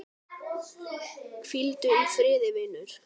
Hvíldu í friði, vinur.